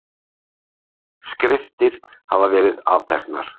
Skriftir hafa verið afteknar.